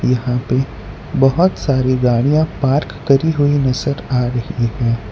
यहां पे बोहोत सारी गाड़ियां पार्क करी हुई नजर आ रही हैं।